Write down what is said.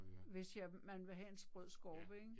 Hvis jeg man vil have en sprød skorpe ik